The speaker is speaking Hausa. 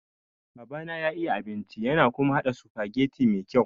Babana ya iya abinci yana kuma haɗa sufageti me kyau.